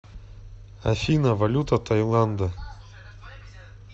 афина валюта тайланда